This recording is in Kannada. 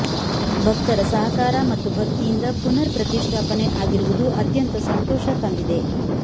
ಭಕ್ತರ ಸಹಕಾರ ಮತ್ತು ಭಕ್ತಿಯಿಂದ ಪುನರ್ ಪ್ರತಿಷ್ಠಾಪನೆ ಆಗಿರುವುದು ಅತ್ಯಂತ ಸಂತೋಷ ತಂದಿದೆ